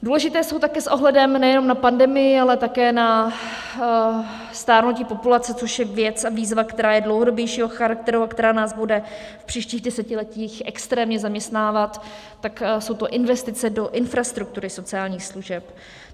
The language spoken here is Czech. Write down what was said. Důležité jsou taky s ohledem nejenom na pandemii, ale také na stárnutí populace, což je věc a výzva, která je dlouhodobějšího charakteru a která nás bude v příštích desetiletích extrémně zaměstnávat, tak jsou to investice do infrastruktury sociálních služeb.